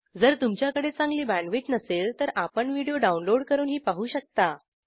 जर तुमच्याकडे चांगली बॅण्डविड्थ नसेल तर आपण व्हिडिओ डाउनलोड करूनही पाहू शकता